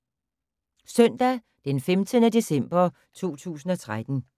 Søndag d. 15. december 2013